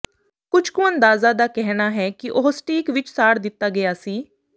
ਕੁਝ ਕੁਅੰਦਾਜ਼ਾਂ ਦਾ ਕਹਿਣਾ ਹੈ ਕਿ ਉਹ ਸਟੀਕ ਵਿਚ ਸਾੜ ਦਿੱਤਾ ਗਿਆ ਸੀ